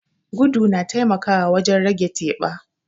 Gudu na taimakawa wajen rage teɓa.